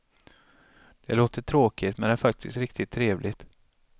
Det låter tråkigt men är faktiskt riktigt trevligt.